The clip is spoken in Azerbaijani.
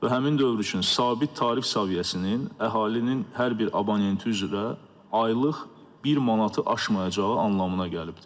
Və həmin dövr üçün sabit tarif səviyyəsinin əhalinin hər bir abonenti üzrə aylıq bir manatı aşmayacağı anlamına gəlibdir.